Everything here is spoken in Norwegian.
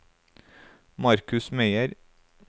Markus Meyer